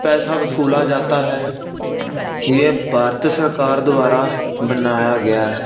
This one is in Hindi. पैसा वसूला जाता है ये भारतीय सरकार द्वारा बनाया गया है।